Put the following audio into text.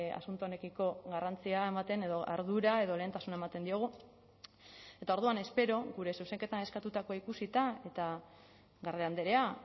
asunto honekiko garrantzia hau ematen edo ardura edo lehentasuna ematen diogu eta orduan espero gure zuzenketan eskatutakoa ikusita eta garde andrea